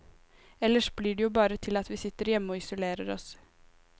Ellers blir det jo bare til at vi sitter hjemme og isolerer oss.